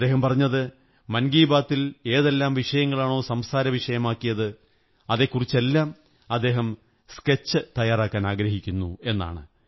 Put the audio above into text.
അദ്ദേഹം പറഞ്ഞത് മൻ കീ ബാത്തിൽ ഏതെല്ലാം വിഷയങ്ങളാണോ സംസാരവിഷയമാക്കിയത് അതെക്കുറിച്ചെല്ലാം അദ്ദേഹം സ്കെച്ച് തയ്യാറാക്കാനാഗ്രഹിക്കുന്നു എന്നാണ്